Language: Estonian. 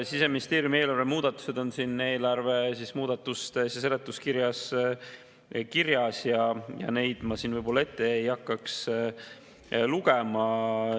Siseministeeriumi eelarve muudatused on siin seletuskirjas kirjas ja neid ma siin ette ei hakkaks lugema.